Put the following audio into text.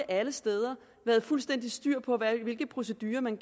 alle steder været fuldstændig styr på hvilke procedurer man